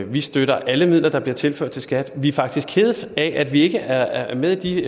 vi støtter alle midler der bliver tilført til skat vi er faktisk kede af at vi ikke er er med i